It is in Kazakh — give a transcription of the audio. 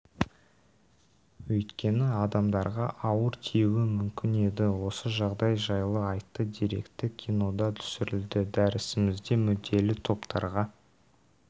өйткені адамдарға ауыр тиюі мүмкін еді осы жағдай жайлы атты деректі кинода түсірілді дәрісімізде мүдделі топтарға